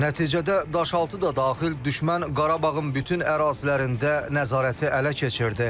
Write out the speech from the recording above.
Nəticədə Daşaltı da daxil düşmən Qarabağın bütün ərazilərində nəzarəti ələ keçirtdi.